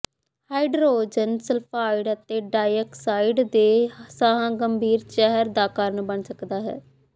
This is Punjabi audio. ਹਾਈਡਰੋਜਨ ਸਲਫਾਇਡ ਅਤੇ ਡਾਈਆਕਸਾਈਡ ਦੇ ਸਾਹ ਗੰਭੀਰ ਜ਼ਹਿਰ ਦਾ ਕਾਰਨ ਬਣ ਸਕਦਾ ਹੈ